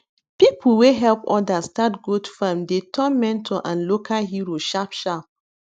people wey help others start goat farm dey turn mentor and local hero sharp sharp